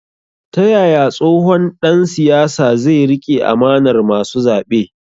Ta yaya tsohon dan siyasa zai rike amanar masu zabe?